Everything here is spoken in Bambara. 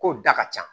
Kow da ka ca